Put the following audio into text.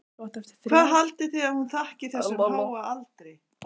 Hvað haldið þið að hún þakki þessum háa aldri?